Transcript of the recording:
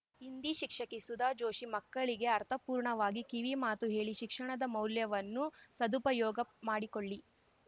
ಹಿಂದಿ ಶಿಕ್ಷಕಿ ಸುಧಾ ಜೋಶಿ ಮಕ್ಕಳಿಗೆ ಅರ್ಥಪೂರ್ಣವಾಗಿ ಕಿವಿ ಮಾತು ಹೇಳಿ ಶಿಕ್ಷಣದ ಮೌಲ್ಯವನ್ನು ಸದುಪಯೋಗ ಮಾಡಿಕೊಳ್ಳಿ